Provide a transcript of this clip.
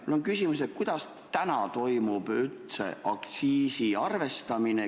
Mul on küsimus, et kuidas täna üldse aktsiisi arvestatakse.